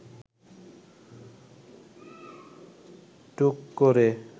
টুক করে